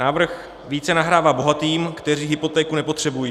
Návrh více nahrává bohatým, kteří hypotéku nepotřebují.